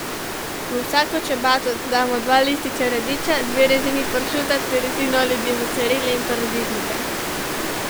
V vsako čabato damo dva lista radiča, dve rezini pršuta ter rezino ali dve mocarele in paradižnika.